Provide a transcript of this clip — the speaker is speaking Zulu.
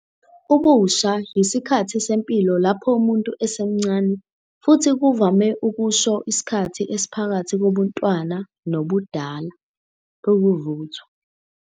Ubusha yisikhathi sempilo lapho umuntu esemncane, futhi kuvame ukusho isikhathi esiphakathi kobuntwana nobudala, ukuvuthwa.